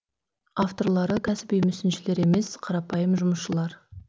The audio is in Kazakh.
авторлары кәсіби мүсіншілер емес қарапайым жұмысшылар